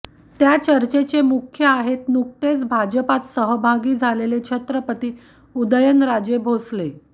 त्या चर्चेचे मुख्य आहेत नुकतेच भाजपत सहभागी झालेले छत्रपती उदयनराजे भोंसले